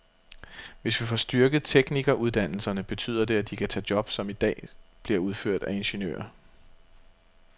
Hvis vi får styrket teknikeruddannelserne, betyder det, at de kan tage job, som i dag bliver udført af ingeniører.